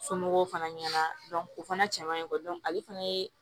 Somɔgɔw fana ɲɛna o fana cɛmanɲe kɔ ale fana ye